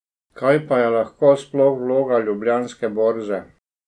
Kaj pa je lahko sploh vloga ljubljanske borze?